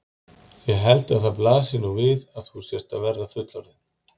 Ég held að það blasi nú við að þú sért að verða fullorðin.